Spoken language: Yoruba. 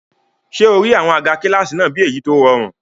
Ṣé o rí àwọn àga kílásì náà bí èyí tó rọrùn?